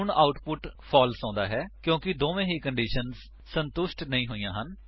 ਹੁਣ output false ਆਉਂਦਾ ਹੈ ਕਿਉਂਕਿ ਦੋਨਾਂ ਹੀ ਕੰਡੀਸ਼ੰਸ ਸੰਤੁਸ਼ਟ ਨਹੀਂ ਹੋਈਆਂ ਹਨ